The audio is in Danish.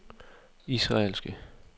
israelske